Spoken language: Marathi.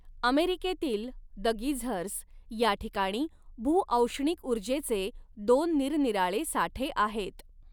अमेरिकेतील ''द गिझर्स'' या ठिकाणी भूऔष्णिक ऊर्जेचे दोन निरनिराळे साठे आहेत.